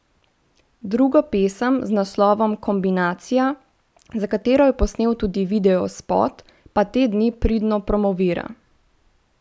Drugo pesem z naslovom Kombinacija, za katero je posnel tudi videospot, pa te dni pridno promovira.